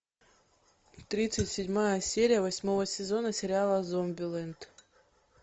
тридцать седьмая серия восьмого сезона сериала зомбиленд